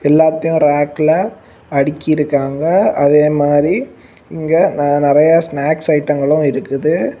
எல்லாத்தையும் ரேக்ல அடிக்கிருக்காங்க அதே மாதிரி இங்க நான் நிறைய ஸ்னாக்ஸ் ஐட்டங்களும் இருக்குது.